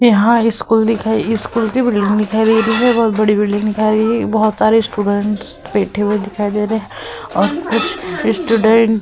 यहाँ स्कूल दिखाई दे स्कूल की बिल्डिंग दिखाई दे रही है। बोहोत बड़ी बिल्डिंग दिखाई दे रही। बोहोत सारे स्टूडेंट्स बैठे हुए दिखाई दे रहे है और कुछ स्टूडेंट --